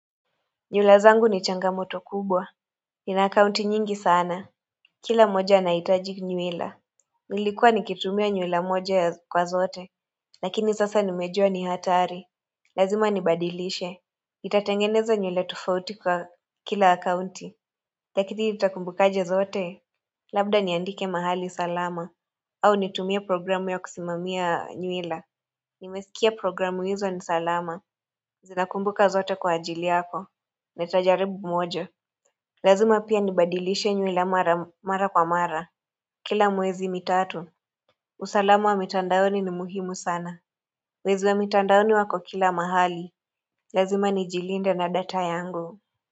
Nyulazangu ni changamoto kubwa Nina akaunti nyingi sana Kila moja anaitaji nyuwila Nilikuwa nikitumia nywila moja ya kwa zote Lakini sasa nimejua ni hatari Lazima nibadilishe nitatengeneza nywila tofauti kwa kila akaunti Lakini nitakumbuka aje zote Labda niandike mahali salama au nitumie programu ya kusimamia nywila Nimesikia programu izo ni salama Zinakumbuka zote kwa ajili yako Nitajaribu moja Lazima pia nibadilishe nywila mara kwa mara Kila mwezi mitatu usalamu wa mitandaoni ni muhimu sana Wezi wa mitandaoni wako kila mahali Lazima nijilinde na data yangu.